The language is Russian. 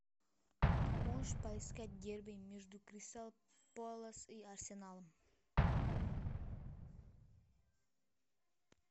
можешь поискать дерби между кристал пэлас и арсеналом